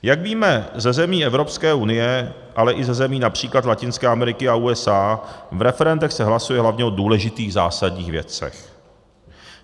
Jak víme ze zemí Evropské unie, ale i ze zemí například Latinské Ameriky a USA, v referendech se hlasuje hlavně o důležitých, zásadních věcech.